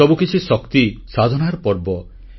ଏ ସବୁକିଛି ଶକ୍ତିସାଧନାର ପର୍ବ